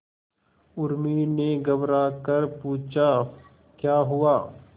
उर्मी ने घबराकर पूछा क्या हुआ